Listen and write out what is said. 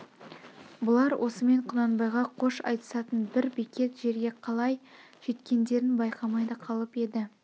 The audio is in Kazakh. бұлар осымен құнанбайға қош айтысатын бір бекет жерге қалай жеткендерін байқамай да қалып еді